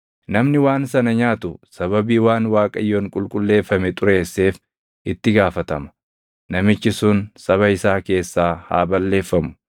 Namni waan sana nyaatu sababii waan Waaqayyoon qulqulleeffame xureesseef itti gaafatama; namichi sun saba isaa keessaa haa balleeffamu.